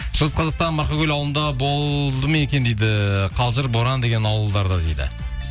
шығыс қазақстан марқакөл ауылында болды ме екен дейді қазір боран деген ауылдарда дейді